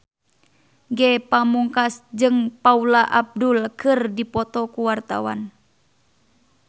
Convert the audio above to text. Ge Pamungkas jeung Paula Abdul keur dipoto ku wartawan